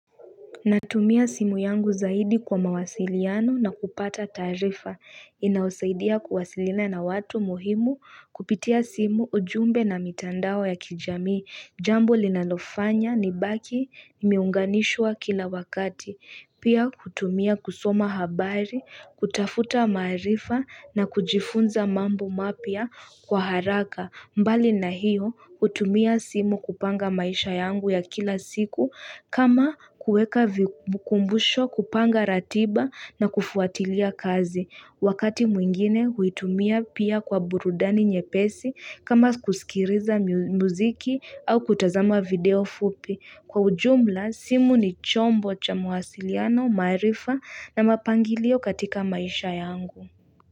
Natumia simu yangu zaidi kwa mawasiliano na kupata taarifa. Inaosaidia kuwasiliana na watu muhimu kupitia simu, ujumbe na mitandao ya kijamii. Jambo linalofanya nibaki imeunganishwa kila wakati. Pia kutumia kusoma habari, kutafuta maarifa na kujifunza mambo mapya kwa haraka. Mbali na hiyo, hutumia simu kupanga maisha yangu ya kila siku. Kama kueka vikumbusho, kupanga ratiba na kufuatilia kazi. Wakati mwingine huitumia pia kwa burudani nyepesi kama kusikiriza muziki au kutazama video fupi. Kwa ujumla, simu ni chombo cha mawasiliano, maarifa na mapangilio katika maisha yangu.